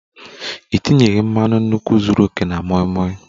Ị tinyeghi mmanu nkwu zuru oke na moi moi